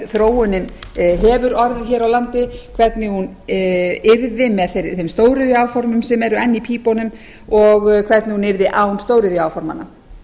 þróunin hefur orðið hér á landi hvernig hana yrði með þeim stóriðjuáformum sem eru enn í pípunum og hvernig hún yrði án stóriðjuáformanna